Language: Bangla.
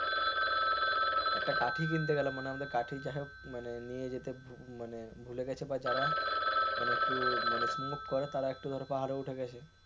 একটা কাঠি কিনতে গেল মানে কাঠি যাই হোক নিয়ে যেতে মানে ভুলে গেছে যারা মানে একটু smoke করে তারা পাহাড়ে উঠে গেছে,